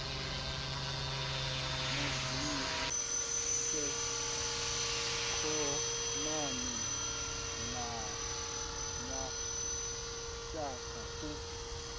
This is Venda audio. vhudzise khonani na mashaka u